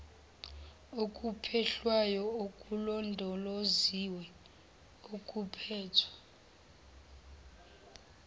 okuphehlwayo okulondoloziwe okuphethwe